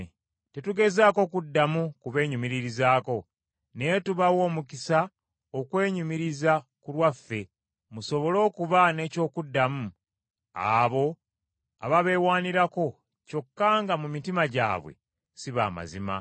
Tetugezaako kuddamu kubeenyumiririzaako, naye tubawa omukisa okwenyumiriza ku lwaffe, musobole okuba n’eky’okuddamu abo ababeewaanirako kyokka nga mu mitima gyabwe si ba mazima.